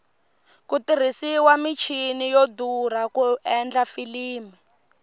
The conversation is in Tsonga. ku tirhisiwa michini yo durha ku endla filimi